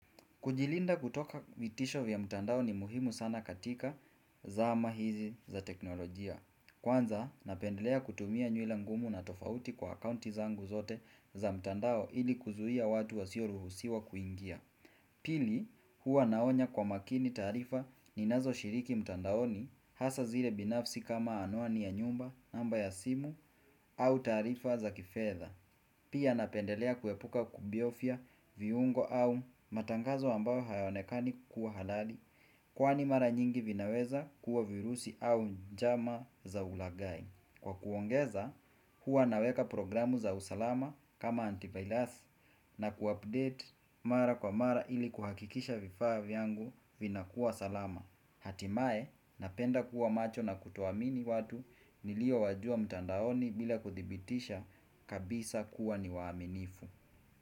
Kujilinda kutoka vitisho vya mtandao ni muhimu sana katika zama hizi za teknolojia. Kwanza, napendelea kutumia nyula ngumu na tofauti kwa akaunti zangu zote za mtandao ili kuzuiia watu wasioruhusiwa kuingia. Kwanza, napendelea kutumia nywila ngumu na tofauti kwa akaunti zangu zote za mtandao ili kuzuia watu wasioruhusiwa kuingia. Pia napendelea kuepuka kubiofia viungo au matangazo ambayo hayaonekani kuwa halali Kwani mara nyingi vinaweza kuwa virusi au njama za ulagai. Kwa kuongeza huwa naweka programu za usalama kama antivirus na kuupdate mara kwa mara ili kuhakikisha vifaa vyangu vinakuwa salama. Hatimaye, napenda kuwa macho na kutoamini watu niliowajua mtandaoni bila kuthibitisha kabisa kuwa ni waaminifu.